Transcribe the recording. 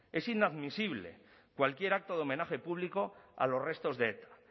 es inadmisible cualquier acto de homenaje público a los restos de eta